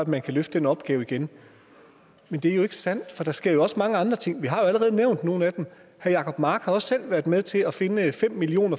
man kan løfte den opgave igen men det er jo ikke sandt for der sker også mange andre ting vi har jo allerede nævnt nogle af dem herre jacob mark har også selv været med til at finde fem million